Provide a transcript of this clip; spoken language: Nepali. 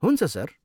हुन्छ सर।